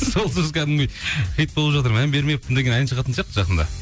сол сөз кәдімгідей хит болып жатыр мән бермеппін деген ән шығатын сияқты жақында